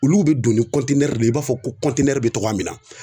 Olu bɛ don ni de ye i b'a fɔ ko bɛ cogoya min na